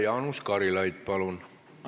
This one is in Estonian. Jaanus Karilaid, palun!